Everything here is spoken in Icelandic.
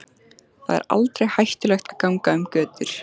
Þar er aldrei hættulegt að ganga um götur.